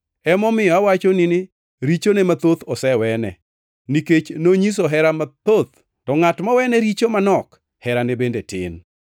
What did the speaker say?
Emomiyo, awachoni ni richone mathoth osewene, nikech nonyiso hera mathoth. To ngʼat mowene richo manok, herane bende tin.”